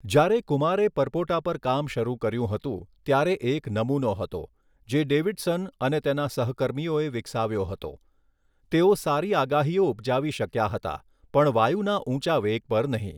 જ્યારે કુમારે પરપોટા પર કામ શરૂ કર્યું હતું, ત્યારે એક નમૂનો હતો, જે ડેવિડસન અને તેના સહકર્મીઓએ વિકસાવ્યો હતો, તેઓ સારી આગાહીઓ ઉપજાવી શક્યા હતા પણ વાયુના ઊંચા વેગ પર નહીં.